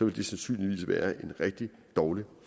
det sandsynligvis være en rigtig dårlig